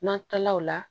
N'an taala o la